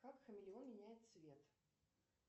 как хамелеон меняет цвет